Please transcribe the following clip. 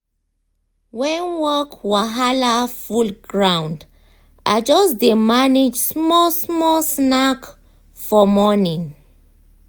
when work wahala full ground i just dey manage small small snack for morning.